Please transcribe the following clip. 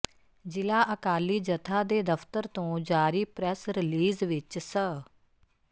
ਜਿਲਾ ਅਕਾਲੀ ਜਥਾ ਦੇ ਦਫਤਰ ਤੋ ਜਾਰੀ ਪ੍ਰੈਸ ਰਲੀਜ਼ ਵਿੱਚ ਸ